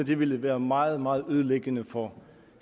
det ville være meget meget ødelæggende for